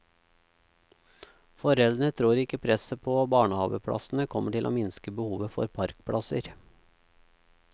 Foreldrene tror ikke presset på barnehaveplassene kommer til å minske behovet for parkplasser.